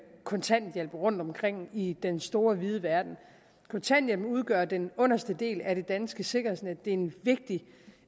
kontanthjælp rundtomkring i den store vide verden kontanthjælpen udgør den underste del af det danske sikkerhedsnet det er en vigtig